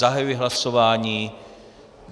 Zahajuji hlasování.